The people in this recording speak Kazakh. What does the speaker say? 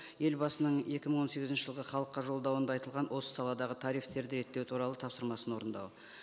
елбасының екі мың он сегізінші жылғы халыққа жолдауында айтылған осы саладағы тарифтерді реттеу туралы тапсырмасын орындау